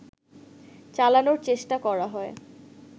চালানোর চেষ্টা করা হয়